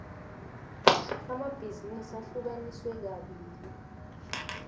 amabhizinisi ahlukaniswe kabili